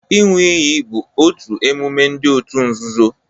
Ịṅụ iyi bụ otu emume ndi òtù nzuzo